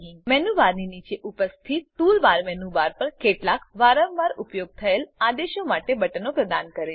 menu બારની નીચે ઉપસ્થિત ટૂલ બાર મેનુ બાર પર કેટલાક વારંવાર ઉપયોગ થયેલ આદેશો માટે બટનો પ્રદાન કરે છે